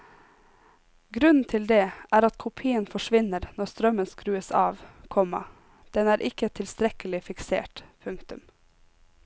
Grunnen til det er at kopien forsvinner når strømmen skrues av, komma den er ikke tilstrekkelig fiksert. punktum